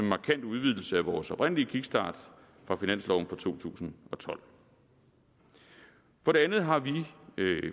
markant udvidelse af vores oprindelige kickstart fra finansloven for to tusind og tolv for det andet har vi